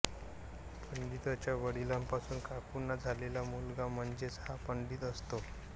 पंडितच्या वडिलांपासून काकूंना झालेला मुलगा म्हणजेच हा पंडित असतो